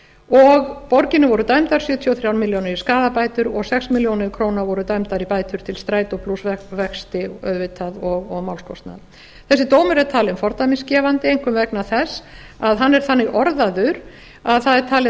og borginni voru dæmdar sjötíu og þrjár milljónir í skaðabætur og sex milljónir króna voru dæmdar í bætur til strætó plús vexti auðvitað og málskostnað þessi dómur er talinn fordæmisgefandi einkum vegna þess að hann er þannig orðaður að það er talið að